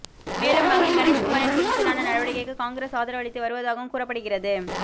மேலும் மகன் கணேஷ்குமாரின் துணிச்சலான நடவடிக்கைக்கு காங்கிரஸ் ஆதரவளித்து வருவதாகவும் கூறப்படுகிறது